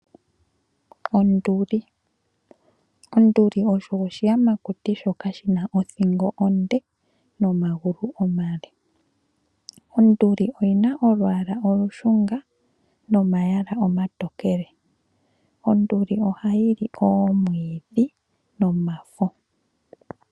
Onduli, onduli osho oshiyamakuti shoka shina othingo onde nomagulu omale. Onduli oyi na olwaala olushunga nomayala omatokele. Onduli ohayi li oomwiidhi nomafo.